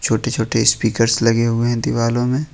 छोटे छोटे स्पीकर्स लगे हुए हैं दीवालों में।